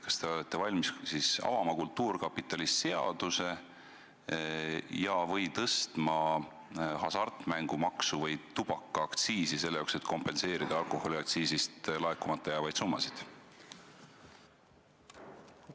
Kas te olete valmis avama kultuurkapitali seaduse ja/või tõstma hasartmängumaksu või tubakaaktsiisi, et kompenseerida alkoholiaktsiisist laekumata jäävaid summasid?